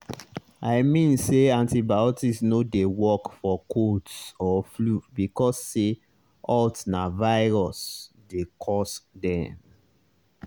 i mean say antibiotics no dey work for colds or flu because say haltna virus dey cause dem.